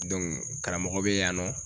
karamɔgɔ bɛ yan nɔ